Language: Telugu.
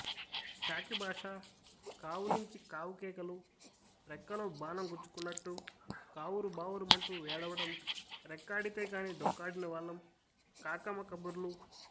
కాకిభాష కావులించి కావుకేకలు రెక్కలో బాణం గుచ్చుకున్నట్టు కావురుబావురుమంటూ ఏడవడం రెక్కాడితే గాని డొక్కాడనివాళ్లం కాకమ్మ కబుర్లు